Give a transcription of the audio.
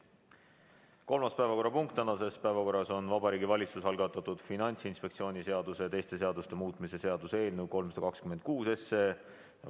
Kolmas punkt tänases päevakorras on Vabariigi Valitsuse algatatud Finantsinspektsiooni seaduse ja teiste seaduste muutmise seaduse eelnõu 326.